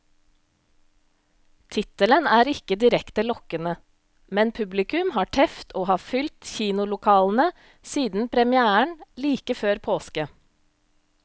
Tittelen er ikke direkte lokkende, men publikum har teft og har fylt kinolokalene siden premièren like før påske.